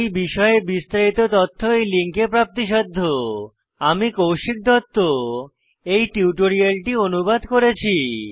এই বিষয়ে বিস্তারিত তথ্য এই লিঙ্কে প্রাপ্তিসাধ্য httpspoken tutorialorgNMEICT Intro আমি কৌশিক দত্ত এই টিউটোরিয়ালটি অনুবাদ করেছি